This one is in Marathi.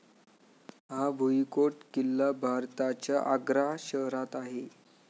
हा भुईकोट किल्ला भारताच्या आग्रा शहरात आहे.